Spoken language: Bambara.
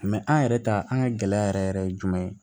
an yɛrɛ ta an ka gɛlɛya yɛrɛ yɛrɛ ye jumɛn